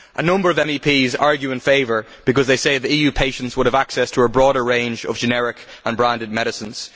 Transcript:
A number of MEPs argue in favour, because they say that EU patients would have access to a broader range of generic and branded medicines.